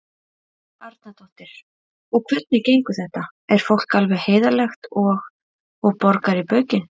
Helga Arnardóttir: Og hvernig gengur þetta, er fólk alveg heiðarlegt og, og borgar í baukinn?